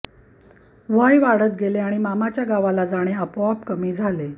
वय वाढत गेले आणि मामाच्या गावाला जाणे आपोआप कमी झाले